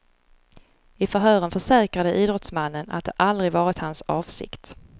I förhören försäkrade idrottsmannen att det aldrig varit hans avsikt.